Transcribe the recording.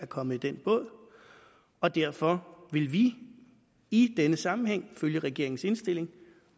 kommet i den båd og derfor vil vi i denne sammenhæng følge regeringens indstilling